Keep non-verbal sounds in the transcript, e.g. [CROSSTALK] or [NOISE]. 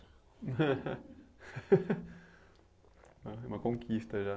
[LAUGHS] É uma conquista já.